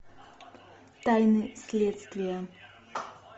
тайны следствия